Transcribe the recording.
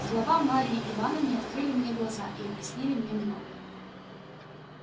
слова марьи ивановны открыли мне глаза и объяснили мне многое